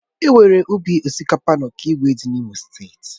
Enwere ubi osikapa na okigwe dị na imo steeti.